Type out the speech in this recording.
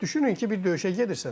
Düşünün ki, bir döyüşə gedirsən.